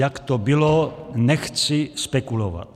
Jak to bylo, nechci spekulovat.